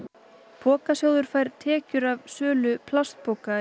Pokasjóður fær tekjur af sölu plastpoka